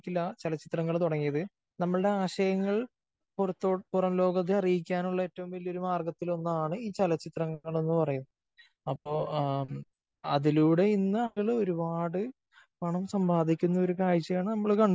ഇല്ല ചലച്ചിത്രങ്ങൾ തുടങ്ങിയത്. നമ്മളുടെ ആശയങ്ങൾ പുറം ലോകത്തെ അറിയിക്കാനുള്ള ഏറ്റവും വലിയ ഒരു മാർഗത്തിലൊന്നാണ് ഈ ചലച്ചിത്രണങ്ങൾ എന്ന് പറയുന്നത്. അപ്പോ അതിലൂടെ ഇന്ന് ആളുകള് ഒരുപാട് പണം സമ്പാദിക്കുന്ന ഒരു കാഴ്ചയാണ് നമ്മൾ